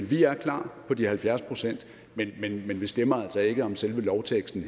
vi er klar på de halvfjerds pct men vi stemmer altså ikke om selve lovteksten